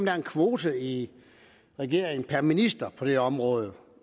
er en kvote i regeringen per minister på det område